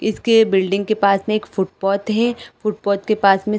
इसके बिल्डिंग के पास में एक फुटपाथ है फुटपाथ के पास में--